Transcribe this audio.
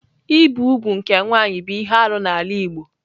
Ibi úgwù nke nwanyị bụ ihe arụ n'ala Igbo.